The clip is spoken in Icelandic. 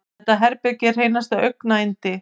Þetta herbergi er hreinasta augnayndi.